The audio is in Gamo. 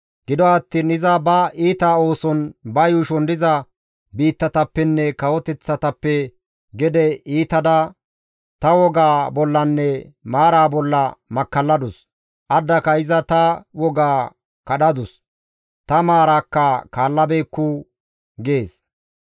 Gido attiin iza ba iita ooson, ba yuushon diza biittatappenne kawoteththatappe gede iitada ta wogaa bollanne maaraa bolla makkalladus; addaka iza ta wogaa kadhadus; ta maaraakka kaallabeekku» gees.